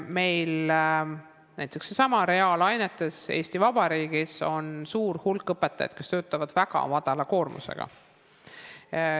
Meil on näiteks Eesti Vabariigis suur hulk reaalainete õpetajaid, kes töötavad väga väikese koormusega.